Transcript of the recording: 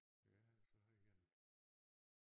Jeg har så haft én